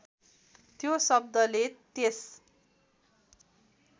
त्यो शब्दले त्यस